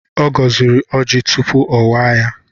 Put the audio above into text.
Ọ gọziri ọjị tupu ọ waa ya.